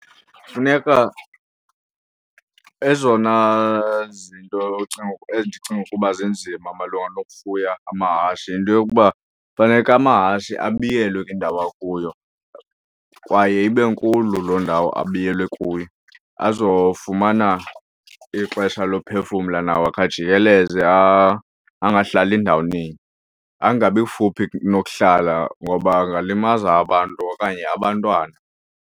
Funeka ezona zinto ocinga, endicinga ukuba zinzima malunga nokufuya amahashi yinto yokuba faneke amahashi abiyelwe kwiindawo akuyo kwaye ibe nkulu loo ndawo abiyelwe kuyo azofumana ixesha lophefumla nawo akhe ajikeleze, angahlali ndawoninye. Angabi kufuphi nokuhlala ngoba angalimaza abantu okanye abantwana.